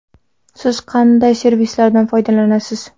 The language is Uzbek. Siz qanday servislardan foydalanasiz?